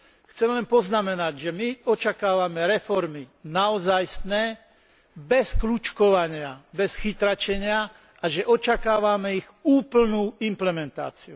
Chcem len poznamenať, že my očakávame reformy naozajstné, bez kľučkovania, bez chytráčenia, a že očakávame ich úplnú implementáciu.